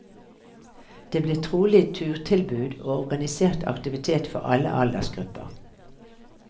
Det blir trolig turtilbud og organisert aktivitet for alle aldersgrupper.